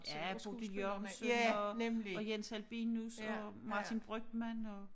Ja Bodil Jørgensen og og Jens Albinus og Martin Brygmann og